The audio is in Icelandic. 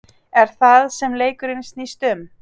Er það sem leikurinn snýst um?